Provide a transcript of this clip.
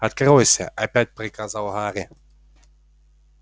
откройся опять приказал гарри